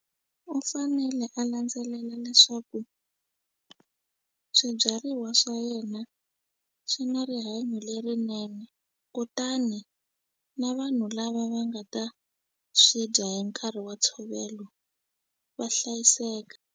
U fanele a landzelela leswaku swibyariwa swa yena swi na rihanyo lerinene kutani na vanhu lava va nga ta swi dya hi nkarhi wa ntshovelo va hlayiseka.